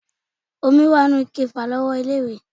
Omi wà nínú ike ìfàlọ́wọ́ ilé-ìwẹ̀